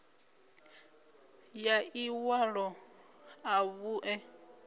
ya ḽi ṅwalo ḽa vhuṋe